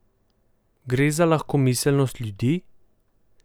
Gre za lahkomiselnost ljudi?